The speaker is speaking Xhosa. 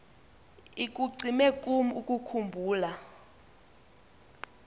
ikucime kum ukukhumbula